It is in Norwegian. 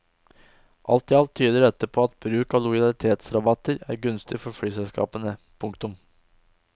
Alt i alt tyder dette på at bruk av lojalitetsrabatter er gunstig for flyselskapene. punktum